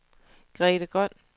Grete Grøn